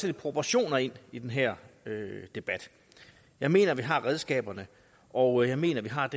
lidt proportioner ind i den her debat jeg mener vi har redskaberne og jeg mener vi har